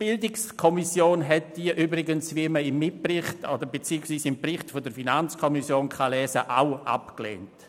Die BiK hat diese übrigens auch abgelehnt, wie man im Bericht der FiKo nachlesen kann.